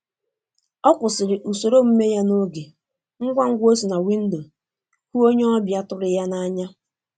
Ọ kwụsịrị usoro omume ya n'oge ngwangwa o si na windo hụ onye ọbịa tụrụ ya n'anya.